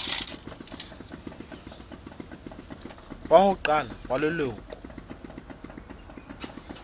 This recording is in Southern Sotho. wa ho qala wa leloko